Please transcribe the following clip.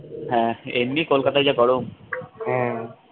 হ্যা এমনি কলকাতায় যা গরম